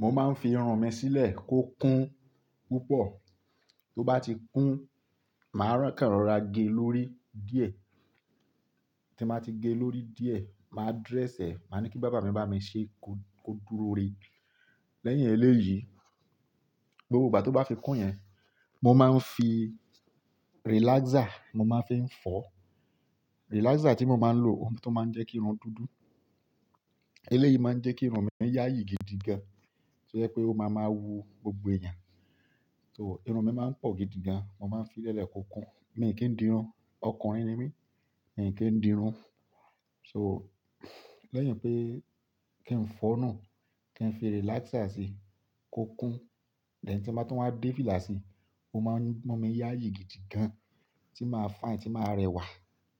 Mo máa ń fi irun mi sílẹ̀ kó kún púpọ̀, tó bá ti kún, màá ràn kán rọra gé lórí díẹ̀, tí n bá ti gé lórí díẹ̀, màá dress ẹ, màá ní kí bàbá mi bá mi ṣe kó dúró rẹ. Lẹ́yìn eléyìí, gbogbo ìgbà tó bá fi kún yẹn, mo máa ń fi relaxer mo máa ń fii fọ. Relaxer tí mo máa ń lò, òun tó máa ń jẹ́ kí irun dúdú. Eléyìí máa ń jẹ́ kí irun mi yáyì gidi gan. To je pé ó máa máa wú gbogbo eeyàn. So irun mi máa ń pọ̀ gidi gan. Mo máa ń fi lẹ́lẹ̀ kó kún. Mi kì í di irun, ọkùnrin ni mí, mi kì í di irun. So lẹ́yìn pé kí n fọ́nù, kí n fi relaxer sí i kó kún. Then tí mo bá tún wá dé fìlà sí i, ó máa ń mú mi yáyì gidi gan tí màá fine, tí màá rẹwà.